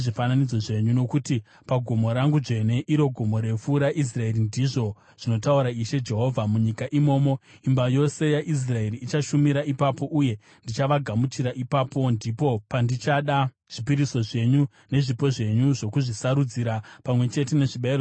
Nokuti pagomo rangu dzvene, iro gomo refu raIsraeri, ndizvo zvinotaura Ishe Jehovha, munyika imomo imba yose yaIsraeri ichashumira ipapo, uye ndichavagamuchira ipapo. Ndipo pandichada zvipiriso zvenyu nezvipo zvenyu zvokuzvisarudzira pamwe chete nezvibayiro zvenyu zvitsvene.